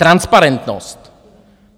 Transparentnost.